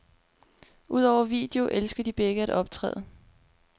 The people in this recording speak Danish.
Udover video elsker de begge at optræde.